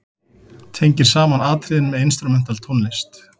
Tengir saman atriðin með instrumental tónlist.